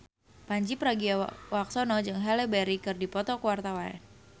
Pandji Pragiwaksono jeung Halle Berry keur dipoto ku wartawan